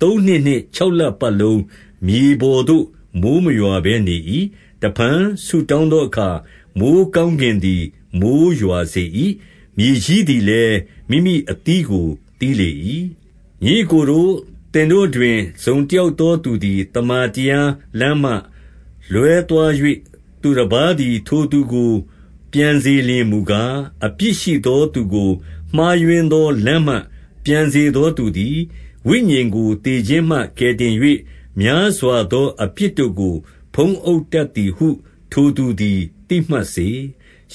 သုံးနှစ်နှင့် ခြောက်လပတ်လုံးမြေပေါ်သို့ မိုဃ်းမရွာဘဲနေ၏။ တဖန်ဆုတောင်းသောအခါ၊ မိုဃ်းကောင်းကင်သည် မိုဃ်းရွာစေ၏။ မြေကြီးသည်လည်း မိမိအသီး ကိုသီးလေ၏။ ညီအစ်ကိုတို့၊ သင်တို့တွင် တစုံတယောက်သောသူသည် သမ္မာတရားလမ်းမှလွဲသွား၍ သူတပါးသည် ထိုသူကို ပြန်စေလျှင်မူကား၊ အပြစ်ရှိသောသူကို မှားယွင်းသောလမ်းမှ ပြန်စေသောသူသည်၊ ဝိညာဉ်ကို သေခြင်းမှ ကယ်တင်၍ များစွာသောအပြစ်တို့ကို ဖုံးအုပ်တတ် သည်ဟု ထိုသူသည် သိမှတ်စေ။